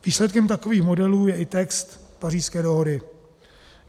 Výsledkem takových modelů je i text Pařížské dohody.